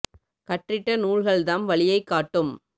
கற்றிட்ட நூல்கள்தாம் வழியைக் காட்டும்